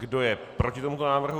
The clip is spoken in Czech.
Kdo je proti tomuto návrhu?